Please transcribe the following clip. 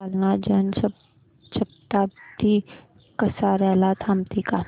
जालना जन शताब्दी कसार्याला थांबते का